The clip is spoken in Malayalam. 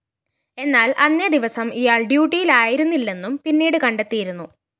എന്നാല്‍ അന്നേ ദിവസം ഇയാള്‍ ഡ്യുട്ടിയില്‍ ആയിരുന്നില്ലെന്നും പിന്നീട് കണ്ടെത്തിയിരുന്നു